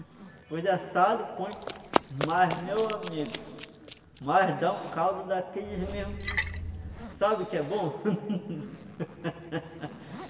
depois de assado põe mas, meu amigo mas dá um caldo daqueles mesmo sabe o que é bom?